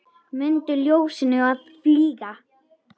Mundu ljósinu að fylgja.